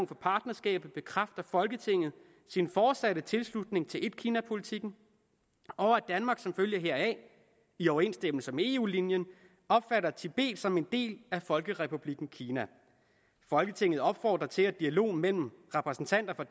for partnerskabet bekræfter folketinget sin fortsatte tilslutning til etkinapolitikken og at danmark som følge heraf i overensstemmelse med eu linjen opfatter tibet som en del af folkerepublikken kina folketinget opfordrer til at dialogen mellem repræsentanter for